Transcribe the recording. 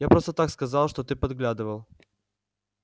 я просто так сказала что ты подглядывал